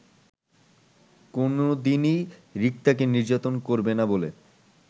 কোনোদিনই রিক্তাকে নির্যাতন করবেনা বলে